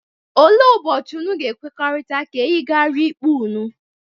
Ole ụbọchi unu ga-ekwekọrịta ka eyigaria ikpe unu?,